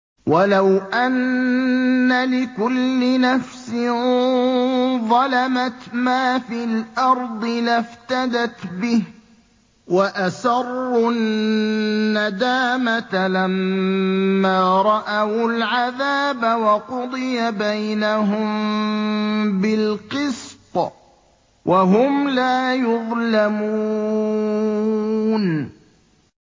وَلَوْ أَنَّ لِكُلِّ نَفْسٍ ظَلَمَتْ مَا فِي الْأَرْضِ لَافْتَدَتْ بِهِ ۗ وَأَسَرُّوا النَّدَامَةَ لَمَّا رَأَوُا الْعَذَابَ ۖ وَقُضِيَ بَيْنَهُم بِالْقِسْطِ ۚ وَهُمْ لَا يُظْلَمُونَ